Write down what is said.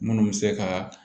Minnu bɛ se ka